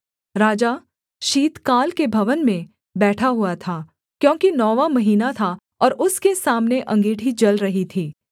राजा शीतकाल के भवन में बैठा हुआ था क्योंकि नौवाँ महीना था और उसके सामने अँगीठी जल रही थी